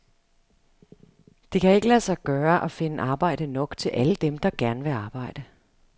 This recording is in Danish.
Det kan ikke lade sig gøre at finde arbejde nok til alle dem, der gerne vil arbejde.